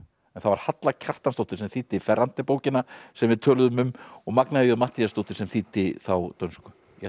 en það var Halla Kjartansdóttir sem þýddi bókina sem við töluðum um og Magnea j Matthíasdóttir sem þýddi þá dönsku ég ætla